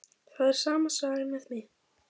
Það er sama sagan með mig.